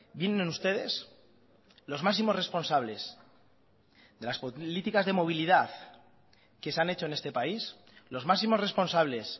vienen ustedes los máximos responsables de las políticas de movilidad que se han hecho en este país los máximos responsables